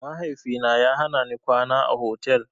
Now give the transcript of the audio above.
Mahaifina ya hanani kwana a otal.